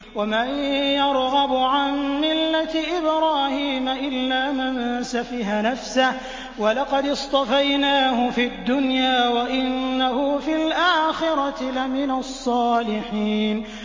وَمَن يَرْغَبُ عَن مِّلَّةِ إِبْرَاهِيمَ إِلَّا مَن سَفِهَ نَفْسَهُ ۚ وَلَقَدِ اصْطَفَيْنَاهُ فِي الدُّنْيَا ۖ وَإِنَّهُ فِي الْآخِرَةِ لَمِنَ الصَّالِحِينَ